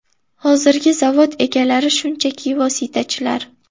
Hozirgi zavod egalari shunchaki vositachilar.